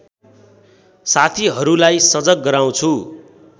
साथीहरूलाई सजग गराउँछु